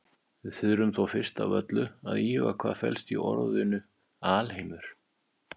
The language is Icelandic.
Við þurfum þó fyrst af öllu að íhuga hvað felst í orðinu alheimur.